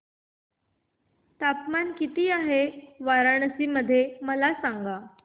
तापमान किती आहे वाराणसी मध्ये मला सांगा